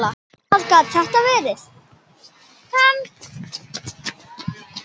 Hver gat þetta verið?